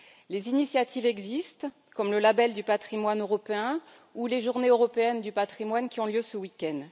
Les initiatives existent, comme le Label du patrimoine européen ou les Journées européennes du patrimoine, qui ont lieu ce week end.